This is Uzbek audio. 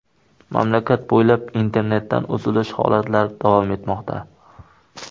Mamlakat bo‘ylab internetdan uzilish holatlari davom etmoqda.